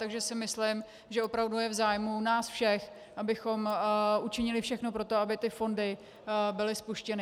Takže si myslím, že opravdu je v zájmu nás všech, abychom učinili všechno pro to, aby ty fondy byly spuštěny.